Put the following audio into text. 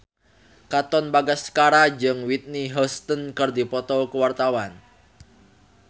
Katon Bagaskara jeung Whitney Houston keur dipoto ku wartawan